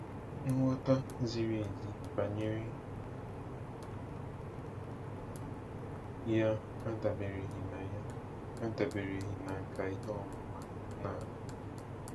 Nghọta ziri ezi banyere ya adabereghị na ya adabereghị na nkà ihe ọmụma naanị.